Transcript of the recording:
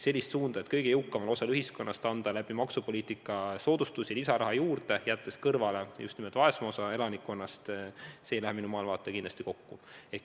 Suund teha kõige jõukamale osale ühiskonnast maksupoliitika kaudu soodustusi, jättes kõrvale just nimelt vaesema osa elanikkonnast – see ei lähe minu maailmavaatega kindlasti kokku.